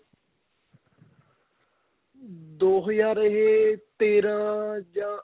ਦੋ ਹਜ਼ਾਰ ਏ ਤੇਰਾਂ ਜਾਂ